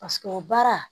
Paseke o baara